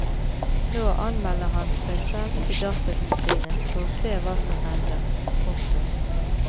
Nå anmelder han seg selv til datatilsynet for å se hva som hender. punktum